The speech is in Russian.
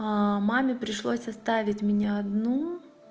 маме пришлось оставить меня одну